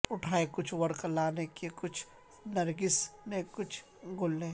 اٹھائے کچھ ورق لالے نے کچھ نرگس نے کچھ گل نے